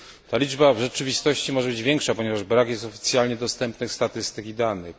Ta liczba w rzeczywistości może być większa, ponieważ brak jest oficjalnie dostępnych statystyk i danych.